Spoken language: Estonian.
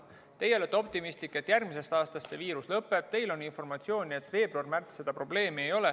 Teie olete optimistlik, et järgmisest aastast see viirus lõpeb, teil on informatsiooni, et veebruaris-märtsis seda probleemi ei ole.